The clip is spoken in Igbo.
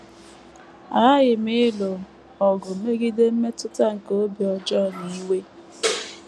Aghaghị m ịlụ ọgụ megide mmetụta nke obi ọjọọ na iwe.